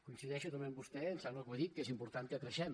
coincideixo també amb vostè em sembla que ho he dit que és important que creixem